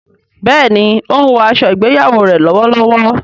béèni o ń wò aṣọ ìgbéyàwó rẹ lówó lówó.